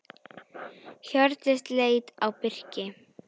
Hjördís leit á Birki.